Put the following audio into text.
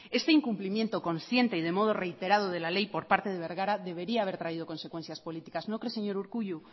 este incumplimiento consciente y de modo reiterado de la ley por parte de bergara debería haber traído consecuencias políticas no cree señor urkullu